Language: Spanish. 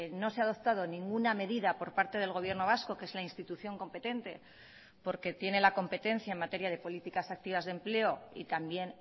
no se ha adoptado ninguna medida por parte del gobierno vasco que es la institución competente porque tiene la competencia en materia de políticas activas de empleo y también